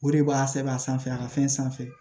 O de b'a sɛbɛn a sanfɛ a ka fɛn sanfɛ